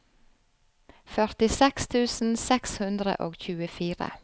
førtiseks tusen seks hundre og tjuefire